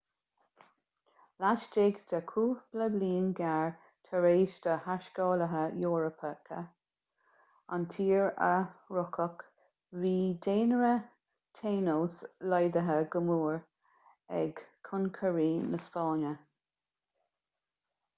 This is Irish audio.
laistigh de chúpla bliain ghearr tar éis do thaiscéalaithe eorpacha an tír a shroicheadh bhí daonra tainos laghdaithe go mór ag concairí na spáinne